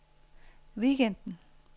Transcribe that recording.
weekenden